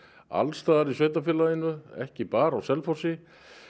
alls staðar í sveitarfélaginu ekki bara á Selfossi